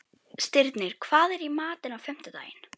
Stirnir, hvað er í matinn á fimmtudaginn?